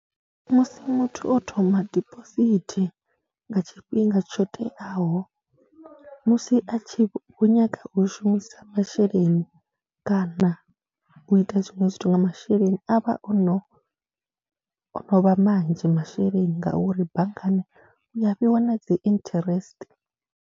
Musi muthu o thoma dibosithi nga tshifhinga tsho teaho musi a tshi vho nyaga u vho shumisa masheleni kana na u ita zwiṅwe zwithu nga masheleni a vha o no, o no vha manzhi masheleni ngauri banngani u ya fhiwa na dzi interest.